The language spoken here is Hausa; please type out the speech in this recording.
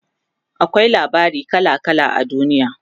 akwai labarai kala kala a duniya